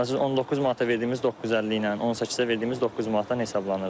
Məsələn 19 manata verdiyimiz 9.50 ilə, 18-ə verdiyimiz 9 manatdan hesablanırdı.